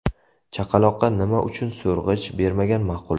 Chaqaloqqa nima uchun so‘rg‘ich bermagan ma’qul?.